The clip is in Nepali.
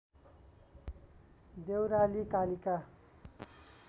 देउराली कालिका